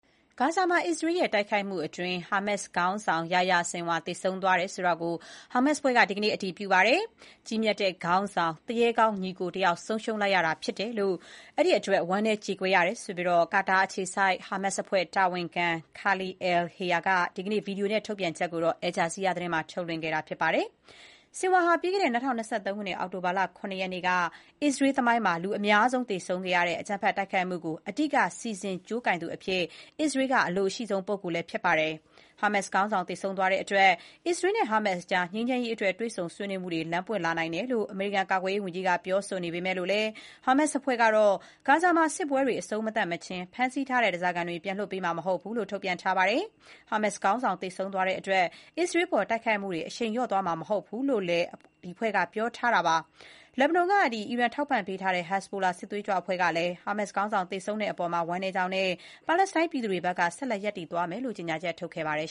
ဂါဇာမှာ အစ္စရေးစစ်တပ်ရဲ့ တိုက်ခိုက်မှုအတွင်း ဟာမတ်စ်အဖွဲ့ခေါင်းဆောင် Yahya Sinwar သေဆုံးသွားပြီ ဆိုတာကို ဟာမတ်စ် (Hamas) အဖွဲ့က ဒီကနေ့ အတည်ပြုလိုက်ပါတယ်။ ကြီးမြတ်တဲ့ ခေါင်းဆောင်၊ သူရဲကောင်းညီအကိုတယောက်ကို ဆုံးရှုံးလိုက်ရတဲ့အတွက် ဝမ်းနည်း ကြေကွဲရတယ်လို့ ကာတာနိုင်ငံအခြေစိုက် ဟာမတ်စ်အဖွဲ့တာဝန်ခံ Khalil al-Hayya က ဒီကနေ့ ဗီဒီယိုနဲ့ထုတ်ပြန်ချက်ကို Al Jazeera သတင်းမှာ ထုတ်လွှင့်ခဲ့တာဖြစ်ပါတယ်။ Sinwar ဟာ ပြီးခဲ့တဲ့ ၂၀၂၃ ခုနှစ် အောက်တိုဘာလ ၇ ရက်နေ့က အစ္စရေး သမိုင်းမှာ လူအများဆုံး သေဆုံးခဲ့ရတဲ့ အကြမ်းဖက် တိုက်ခိုက်မှုကို အဓိက စီစဉ် ကြိုးကိုင်သူအဖြစ် အစ္စရေးက အလိုအရှိဆုံး ပုဂ္ဂိုလ်ဖြစ်ပါတယ်။ ဟာမတ်စ် ခေါင်းဆောင် သေဆုံးသွားတဲ့အတွက် အစ္စရေးနဲ့ ဟာမတ်စ်ကြား ငြိမ်းချမ်းရေးအတွက် တွေ့ဆုံဆွေးနွေးမှုတွေ လမ်းပွင့်လာနိုင်တယ်လို့ အမေရိကန် ကာကွယ်ရေးဝန်ကြီးက ပြောဆိုနေပေမဲ့လို့ ဟာမတ်စ်အဖွဲ့ကတော့ ဂါဇာမှာ စစ်ပွဲတွေ အဆုံးမသတ်မချင်း ဖမ်းဆီးထားတဲ့ ဓားစားခံတွေ ပြန်လွှတ်ပေးမှာ မဟုတ်ဘူးလို့ ထုတ်ပြန်ထားပါတယ်။ ဟာမတ်စ် ခေါင်းဆောင် သေဆုံးသွားတဲ့အတွက် အစ္စရေးအပေါ် တိုက်ခိုက်မှုတွေ အရှိန်လျော့သွားမှာ မဟုတ်ဘူးလို့လည်း ဟာမတ်စ်အဖွဲ့က ပြောဆိုထားပါတယ်။ လက်ဘနွန်က အီရန်ထောက်ပံ့ထားတဲ့ Hezbollah စစ်သွေးကြွအဖွဲ့ကလည်း Hamas ခေါင်းဆောင်သေဆုံးတဲ့အပေါ် ဝမ်းနည်းကြောင်းနဲ့ ပါလက်စတိုင်းပြည်သူတွေဘက်က ဆက်လက်ရပ်တည် သွားမယ်လို့ ကြေညာချက်ထုတ်ခဲ့ပါတယ်